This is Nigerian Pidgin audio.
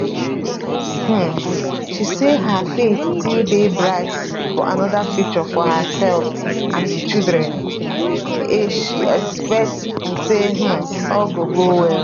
um she say her faith still dey bright for anoda future for herself and di children a she expect say um all go go well